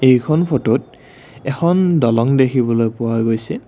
এইখন ফটোত এখন দলং দেখিবলৈ পোৱা গৈছে।